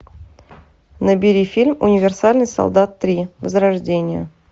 набери фильм универсальный солдат три возрождение